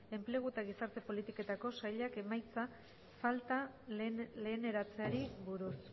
enplegu eta gizarte politiketako saileko emaitza falta leheneratzeari buruz